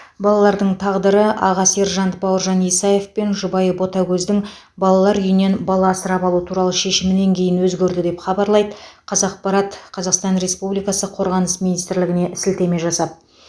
балалардың тағдыры аға сержант бауыржан исаев пен жұбайы ботагөздің балалар үйінен бала асырап алу туралы шешімінен кейін өзгерді деп хабарлайды қазақпарат қазақстан республикасы қорғаныс министрлігіне сілтеме жасап